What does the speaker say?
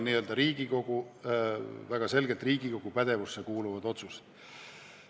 Need on väga selgelt Riigikogu pädevusse kuuluvad otsused.